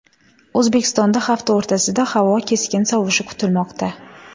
O‘zbekistonda hafta o‘rtasida havo keskin sovishi kutilmoqda.